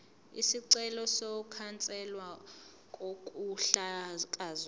isicelo sokukhanselwa kokuhlakazwa